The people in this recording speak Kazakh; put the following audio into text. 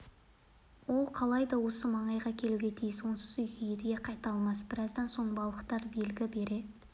ол қалайда осы маңайға келуге тиіс онсыз үйге едіге қайта алмас біраздан соң балықтар белгі бере